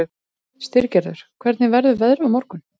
Styrgerður, hvernig verður veðrið á morgun?